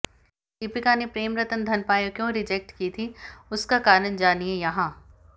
दीपिका ने प्रेम रतन धन पायो क्यों रिजेक्ट की थी उसका कारण जानिए यहां